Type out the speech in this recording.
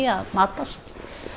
að matast